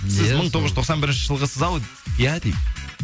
сіз мың тоғыз жүз тоқсан бірінші жылғысыз ау иә дейді